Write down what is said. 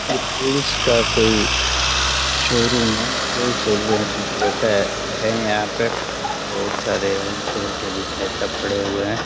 ये टवील्स का कोई शोरूम है। हॉल सेल विक्रेता हैं यहाँ पे । बहोत सारे हॉल सेल के विक्रेता यहाँ पे पड़े हुए हैं।